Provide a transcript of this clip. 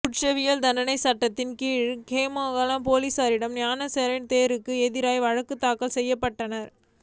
குற்றவியல் தண்டனைச் சட்டத்தின் கீழ் ஹோமாகம பொலிஸாரால் ஞானசார தேரருக்கு எதிராக வழக்குத் தாக்கல் செய்யப்பட்டது